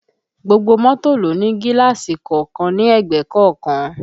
Gbogbo mọ́tò ló ń ní gíláàsì kọ̀ọ̀kan ní ẹ̀gbẹ́ kọ̀ọ̀kan